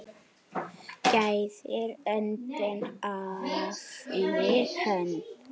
Gæðir öndin afli hönd.